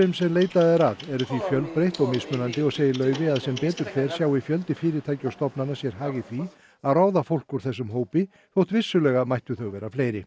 sem leitað er að eru því mjög fjölbreytt og mismunandi og segir Laufey að sem betur fer sjái fjöldi fyrirtækja og stofnana sér hag í því að ráða fólk úr þessum hópi þótt vissulega mættu þau vera fleiri